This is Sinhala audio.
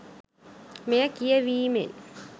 මෙය කියැවීමෙන්